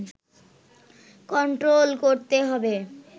control করতে হবে